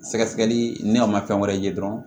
Sɛgɛsɛgɛli ni a ma fɛn wɛrɛ ye dɔrɔn